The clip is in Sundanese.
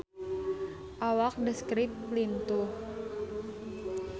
Awak The Script lintuh